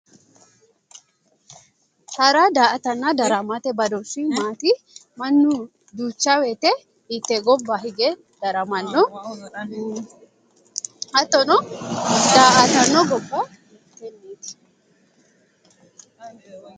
hara daa''atanna daramate badooshshi maati? mannu duuchawoyite hiitte gobba hige daramanno hattono daa''atanno